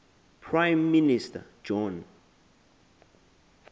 prime minister john